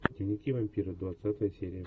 дневники вампира двадцатая серия